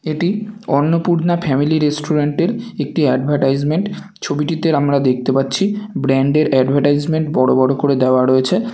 এটি Annapurna family restaurant -এর একটি অ্যাডভার্টাইজমেন্ট । ছবিটিতে আমরা দেখতে পাচ্ছি ব্র্যান্ড - এর এডভার্টাইজমেন্ট বড়ো বড়ো করে দেওয়া রয়েছে ।